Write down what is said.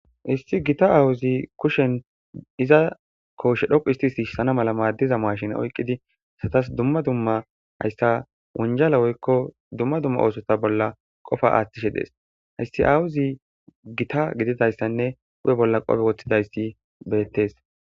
isti gita awuzi kushen iza kooshe dhoqu histisi hsana mala maaddiza maashin oyqqidi satas dumma dumma hayssa wonjala woykko dumma dumma oosota bolla qofa aaththishe dees hayssi awuzi gita gididayssanne upe bolla qofe woththidayssi beettes